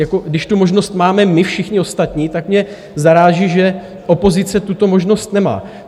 Jako když tu možnost máme my všichni ostatní, tak mě zaráží, že opozice tuto možnost nemá.